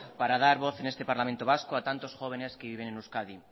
para dar voz en este parlamento vasco a tantos jóvenes que viven en euskadi